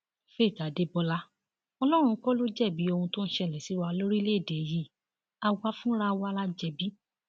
faith adébọlá ọlọrun kọ ló jẹbi ohun tó ń ṣẹlẹ sí wa lórílẹèdè yìí àwa fúnra wa la jẹbi